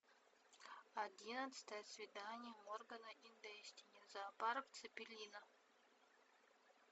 одиннадцатое свидание моргана и дэстини зоопарк цеппелина